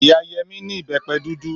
Ìyá Yẹmí ní ìbẹ́pẹ dúdú.